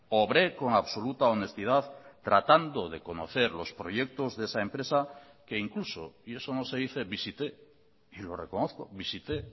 obré con absoluta honestidad tratando de conocer los proyectos de esa empresa que incluso y eso no se dice visité y lo reconozco visité